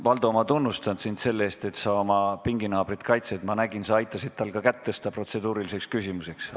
Valdo, ma tunnustan sind selle eest, et sa oma pinginaabrit kaitsed, aga ma nägin, et sa aitasid tal ka kätt tõsta protseduuriliseks küsimuseks.